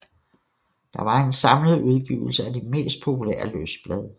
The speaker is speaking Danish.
Det var en samlet udgivelse af de mest populære løsblade